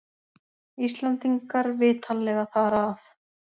Íslendingar vitanlega þar að.